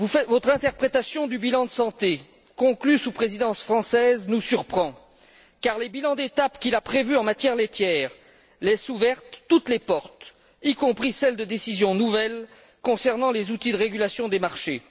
Votre interprétation du bilan de santé, conclu sous la Présidence française, nous surprend, car les bilans d'étape qu'il a prévus en matière laitière laisse ouvertes toutes les portes, y compris celles de décisions nouvelles concernant les outils de régulation des marchés.